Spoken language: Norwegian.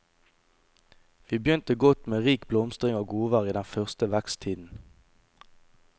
Vi begynte godt med rik blomstring og godvær i den første veksttiden.